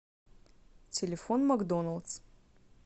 телефон макдоналдс